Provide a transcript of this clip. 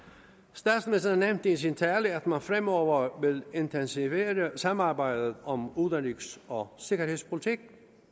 statsministeren nævnte i sin tale at man fremover vil intensivere samarbejdet om udenrigs og sikkerhedspolitik